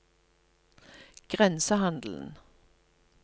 grensehandelen